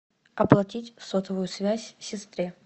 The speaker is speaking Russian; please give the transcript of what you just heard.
оплатить сотовую связь сестре